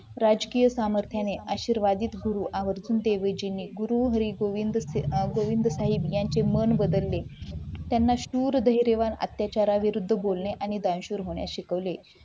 राजकीय सामर्थ्याने आशीर्वाद गुरु गोविंद साहेब यांचे मन बदलले त्यांना सूर धैर्य अत्याचार आणि विरुद्ध बोलणे शिकवले